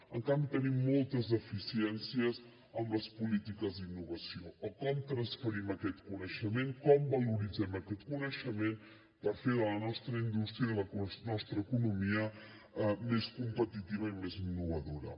en canvi tenim moltes deficiències en les polítiques d’innovació o com transferim aquest coneixement com valoritzem aquest coneixement per fer la nostra indústria i la nostra economia més competitives i més innovadores